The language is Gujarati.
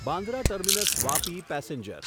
Bandra terminus Vapi passenger